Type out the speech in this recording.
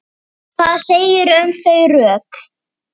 Hvað segirðu um þau rök?